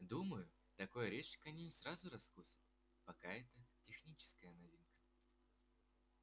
думаю такой орешек они не сразу раскусят пока это техническая новинка